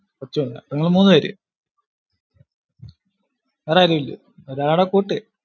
കൊച്ചുമുണ്ടോ, നിങ്ങൾ മൂന്ന് പേര്, വേറെയാരും ഇല്ലേ? ഒരാളെ കൂട്ട്